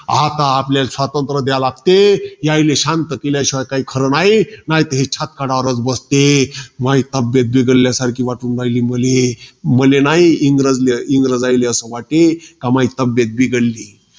आता आपल्याला स्वतंत्र द्याय्ले लागते. यायले शांत केल्या शिवाय काई खरं नाही. नाहीतर हे छाताडावरच बसते. म्हाई तब्येत बिघडल्या सारखी वाटू राहिली, मले. मले न्हाई, इंग्रजले, इंग्रजायले असं वाटे. का म्हाई तब्येत बिघडली.